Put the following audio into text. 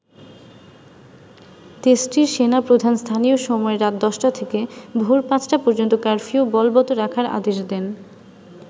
দেশটির সেনা প্রধান স্থানীয় সময় রাত ১০ থেকে ভোর পাঁচটা পর্যন্ত কারফিউ বলবত রাখার আদেশ দেন।